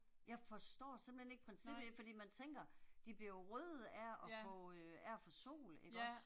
Jeg forstår simpethen ikke princippet, ja fordi man tænker, de bliver jo røde af at få øh af at få sol ikke også